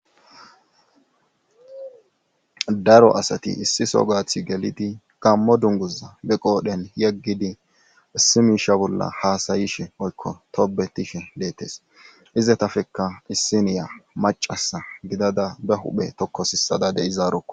daro asati issiso gaathi gelidi gammo dunguza be qoodhen yeggidi issi miisha bolla haasayishe oykko tobetishe deettes izetafekka dhissiniya macasa gidada be huphe tokkosissada de'izaaro